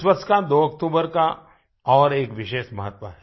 इस वर्ष का 2 अक्टूबर का और एक विशेष महत्व है